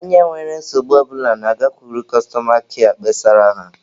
Onye nwere nsogbu ọ bụla na-agakwuru kọstọma kịa kpesara ha.